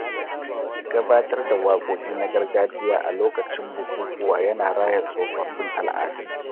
Gabatar da wakoki na gargajiya a lokacin bukukuwa ya na raya tsofaffin al'adu.